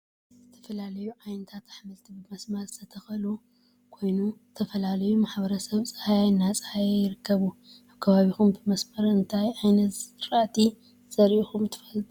ዝተፈላለዮ ዓይነታት አሕምልቲ ብመሰመር ዝተተከሉ ኮይኑ ዝተፈላለዮ ማሕበረሰብ ፃህያይ እናፀሃዮ ይርከቡ ። አብ ከባቢኩም ብመሰመር አነታይ ዓይነት ዝራእቲ ዘርእኩም ትፈልጡ ?